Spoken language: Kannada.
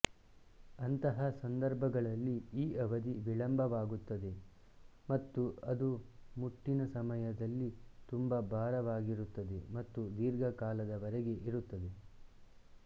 ಅಂತಹ ಸಂದರ್ಭಗಳಲ್ಲಿ ಈ ಅವಧಿ ವಿಳಂಬವಾಗುತ್ತದೆ ಮತ್ತು ಅದು ಮುಟ್ಟಿನ ಸಮಯದಲ್ಲಿ ತುಂಬಾ ಭಾರವಾಗಿರುತ್ತದೆ ಮತ್ತು ದೀರ್ಘಕಾಲದವರೆಗೆ ಇರುತ್ತದೆ